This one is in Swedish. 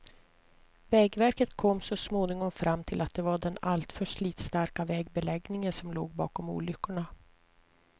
Vägverket kom så småningom fram till att det var den alltför slitstarka vägbeläggningen som låg bakom olyckorna.